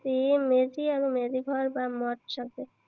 মেজি আৰু মেজি ঘৰ বা মচ সাজে।